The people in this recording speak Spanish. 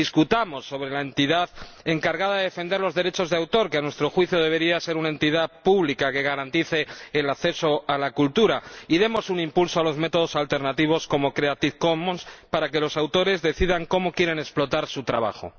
discutamos sobre la entidad encargada de defender los derechos de autor —que, a nuestro juicio, debería ser una entidad pública que garantice el acceso a la cultura—, y demos un impulso a los métodos alternativos, como las licencias Creative Commons para que los autores decidan cómo quieren explotar su trabajo.